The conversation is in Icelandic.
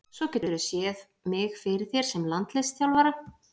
Svo geturðu séð mig fyrir þér sem landsliðsþjálfara?